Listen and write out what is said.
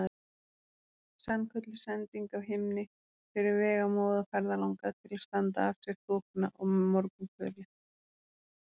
Sannkölluð sending af himni fyrir vegamóða ferðalanga til að standa af sér þokuna og morgunkulið.